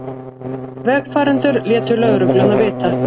Vegfarendur létu lögregluna vita